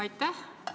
Aitäh!